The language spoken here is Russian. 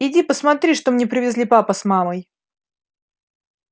иди посмотри что мне привезли папа с мамой